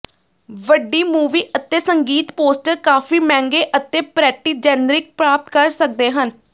ਵੱਡੀ ਮੂਵੀ ਅਤੇ ਸੰਗੀਤ ਪੋਸਟਰ ਕਾਫ਼ੀ ਮਹਿੰਗੇ ਅਤੇ ਪਰੈਟੀ ਜੈਨਰਿਕ ਪ੍ਰਾਪਤ ਕਰ ਸਕਦੇ ਹਨ